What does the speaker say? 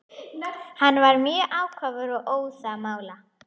Hann var mjög ákafur og óðamála.